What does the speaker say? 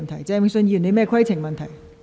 鄭泳舜議員，你有甚麼規程問題？